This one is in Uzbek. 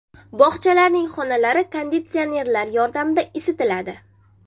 Bog‘chalarning xonalari konditsionerlar yordamida isitiladi.